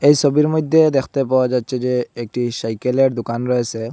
এই সবির মইদ্যে দেখতে পাওয়া যাচ্চে যে একটি সাইকেল -এর দুকান রয়েসে।